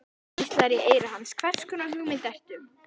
Rödd hvíslar í eyra hans: Hvers konar hugmynd ertu?